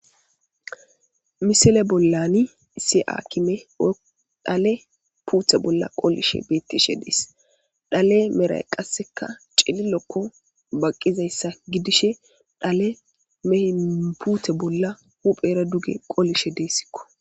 Missile bolan issi akimey dhale pute boli qolishe betishe dees dhale meray qaseka c'lilo baqizaysa gidishe dhale mehene pute bola huphera duge qolishe desiko.